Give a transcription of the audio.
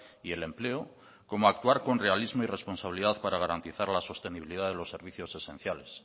y el empleo como actuar con realismo y responsabilidad para garantizar la sostenibilidad de los servicios esenciales